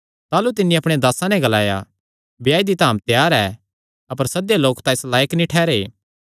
ताह़लू तिन्नी अपणे दासां नैं ग्लाया ब्याये दी धाम तां त्यार ऐ अपर सद्देयो लोक इस लायक नीं ठेहरै